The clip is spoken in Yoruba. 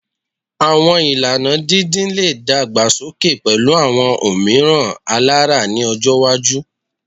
Awọn ilana didin le dagbasoke pẹlu awọn omiiran alara ni ọjọ iwaju